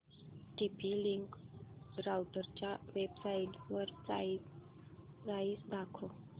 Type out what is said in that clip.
TP link राउटरच्या वेबसाइटवर price दाखव